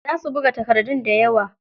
Za su buga takardun dayawa.